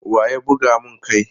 Wa ya buga mun kai?